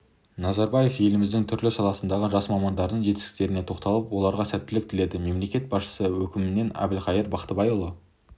назарбаев еліміздің түрлі саласындағы жас мамандардың жетістіктеріне тоқталып оларға сәттілік тіледі мемлекет басшысының өкімімен әбілқайыр бақтыбайұлы